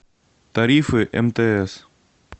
тарифы мтс